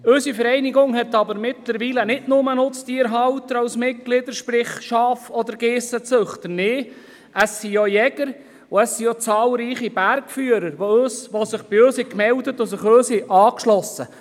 Unsere Vereinigung hat aber mittlerweile nicht nur Nutztierhalter als Mitglieder, sprich Schaf- oder Geissenzüchter – auch Jäger und zahlreiche Bergführer haben sich bei uns gemeldet und sich uns angeschlossen.